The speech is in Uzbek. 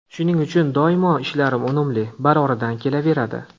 Shuning uchun doimo ishlarim unumli, baroridan kelaveradi.